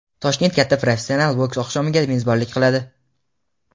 Toshkent katta professional boks oqshomiga mezbonlik qiladi.